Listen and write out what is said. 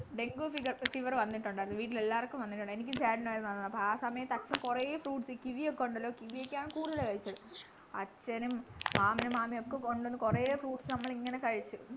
dengue fever വന്നിട്ടുണ്ടായിരുന്നു വീട്ടിലെല്ലാർക്കും വന്നിട്ടുണ്ട എനിക്കും ചേട്ടനു ആയിരുന്നു വന്നത് അപ്പൊ ആ സമയത് അച്ഛൻ കൊറേ fruits ഈ കിവിയൊക്കെ ഉണ്ടല്ലോ കിവിയൊക്കെയാണ് കൂടുതല് കഴിച്ചത് അച്ഛനും മാമനും മാമിയുമൊക്കെ കൊണ്ടുവന്നു കൊറേ fruits നമ്മളിങ്ങനെ കഴിച്ചു